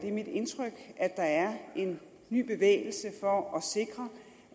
er mit indtryk at der er en ny bevægelse for at sikre